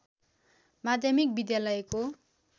माध्यमिक विद्यालयको